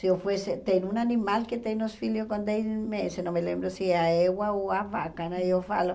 Se eu fosse, tem um animal que tem os filhos com dez meses, não me lembro se é a égua ou a vaca, né? Eu falo